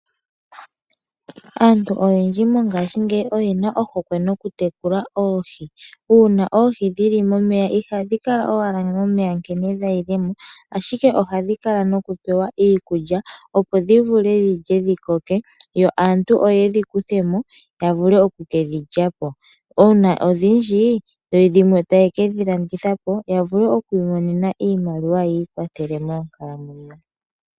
Aantu oyendji mongashingeyi oyena ohokwe noku tekula oohi. Uuna oohi dhi li momeya, ihadhi kala owala momeya nkene dha yile mo, ashike ohadhi kala noku pewa iikulya. Opo dhi vule dhilye dhi koke, yo aantu oye dhi kuthemo ya vule oku kedhi lya po. Uuna odhindji yo dhimwe taye kedhi landitha po ya vule ku imonena iimaliwa yiikwathele monkalamwenyo.